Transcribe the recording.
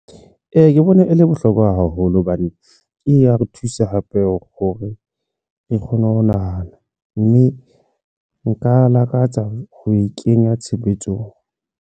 Ee, ke bone e le bohlokwa haholo hobane e ya re thusa hape hore ke kgone ho nahana mme nka lakatsa ho e kenya tshebetsong.